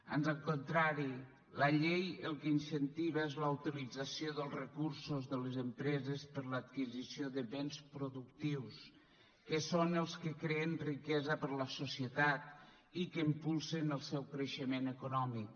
ans al contrari la llei el que incentiva és la utilització dels recursos de les empreses per a l’adquisició de béns productius que són els que creen riquesa per a la societat i que impulsen el seu creixement econòmic